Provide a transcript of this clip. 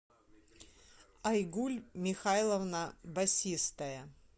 айгуль михайловна басистая